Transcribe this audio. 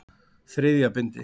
Þriðja bindi.